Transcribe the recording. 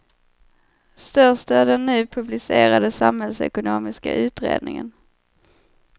Störst är den nu publicerade samhällsekonomiska utredningen.